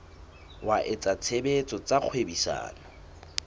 wa etsa tshebetso tsa kgwebisano